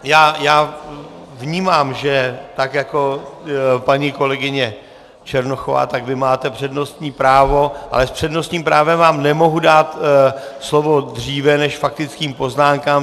Já vnímám, že tak jako paní kolegyně Černochová, tak vy máte přednostní právo, ale s přednostním právem vám nemohu dát slovo dříve než faktickým poznámkám.